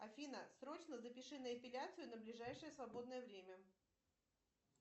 афина срочно запиши на эпиляцию на ближайшее свободное время